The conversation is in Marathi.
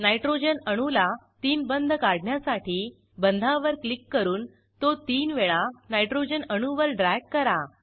नायट्रोजन अणूला तीन बंध काढण्यासाठी बंधावर क्लिक करून तो तीन वेळा नायट्रोजन अणूवर ड्रॅग करा